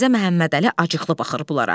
Mirzə Məmmədəli acıqlı baxır bunlara.